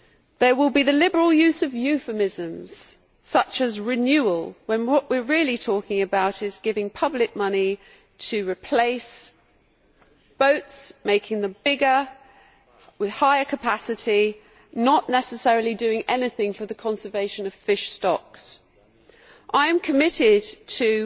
There will be the liberal use of euphemisms, such as renewal', when what we are really talking about is giving public money to replace boats, making them bigger with higher capacity and not necessarily doing anything for the conservation of fish stocks. I am committed to